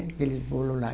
Aqueles bolos lá.